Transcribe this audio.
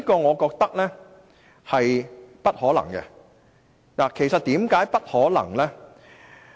我覺得這是不可能的，為甚麼呢？